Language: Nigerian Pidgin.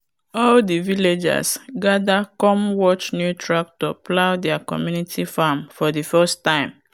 all the villagers gather come watch new tractor plow their community farm for the first time.